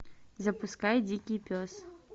запускай дикий пес